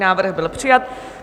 Návrh byl přijat.